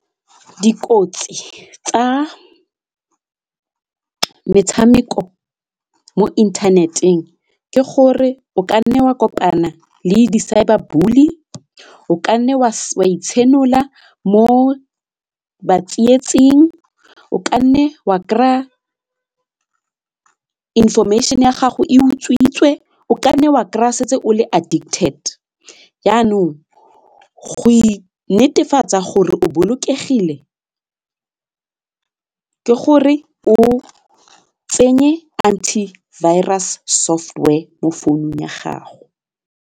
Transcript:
Dikotsi tsa metshameko mo internet-eng ke gore o kanne wa kopana le di cyber bully, o kanne wa itshenola mo batsietsing, o kanne wa kry-a information ya gago e utswitswe, o kanne wa kry-a setse o le addicted, jaanong go netefatsa gore o bolokegile ke gore o tsenye anti virus software mo founung ya gago.